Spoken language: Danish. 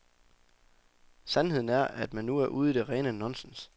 Sandheden er, at man nu er ude i det rene nonsens.